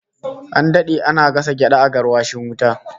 An dade ana gasa gyada a garwashin wuta